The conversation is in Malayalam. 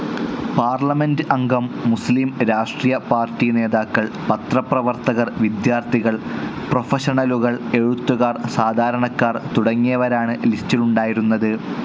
പാർലമെൻ്റ്അംഗം, മുസ്ലീം രാഷ്ട്രീയ പാർട്ടി നേതാക്കൾ, പത്രപ്രവർത്തകർ, വിദ്യാർത്ഥികൾ, പ്രൊഫഷണലുകൾ, എഴുത്തുകാർ, സാധാരണക്കാർ തുടങ്ങിയവരാണ് ലിസ്റ്റിലുണ്ടായിരുന്നത്.